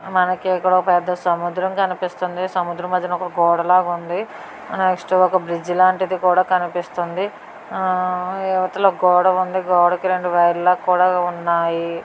మనకి ఇక్కడ ఓ పెద్ద సముద్రం కనిపిస్తుందీ. సముద్రం మద్యలో ఒక గోడలాగా ఉంది నెక్స్ట్ ఒక బ్రిడ్జ్ లాంటిది కూడా కనిపిస్తుంది ఆ అవతల గోడ ఉంది. గోడకి రెండు వైర్ల కూడా ఉన్నాయ్.